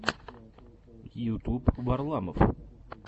ютуб варламов